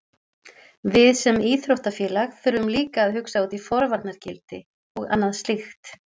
Við sem íþróttafélag þurfum líka að hugsa út í forvarnargildi og annað slíkt.